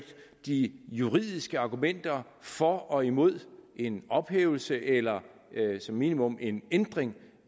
de juridiske argumenter for og imod en ophævelse eller som minimum en ændring